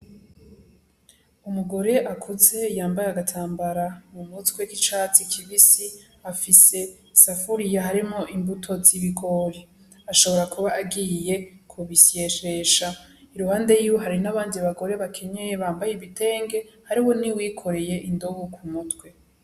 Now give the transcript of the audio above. Umugore akuze yambaye agatambara mu mutwe k'icatsi kibisi afise isafuriya harimwo imbuto z'ibigori, ashobora kuba agiye ku bisyesesha iruhande yiwe hari n'abandi bagore bakenyeye bambaye ibitenge hariho nuwikoreye indobo ku mutwe.